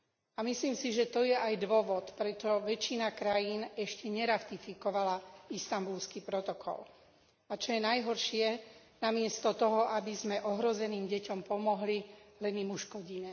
A myslím si, že to je aj dôvod, prečo väčšina krajín ešte neratifikovala Istanbulský protokol. A čo je najhoršie, namiesto toho, aby sme ohrozeným deťom pomohli, len im uškodíme.